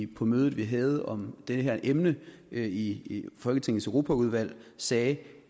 på mødet vi havde om det her emne i i folketingets europaudvalg sagde